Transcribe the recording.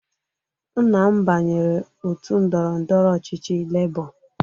Nna m banyere òtù ndọrọ ndọrọ ọchịchị Lebọ.